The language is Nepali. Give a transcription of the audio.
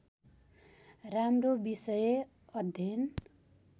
राम्रो विषय अध्ययन